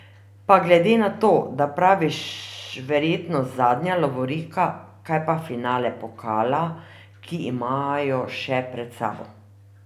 Pa glede na to, da praviš verjetno zadnja lovorika kaj pa finale pokala, ki imajo še pred sabo.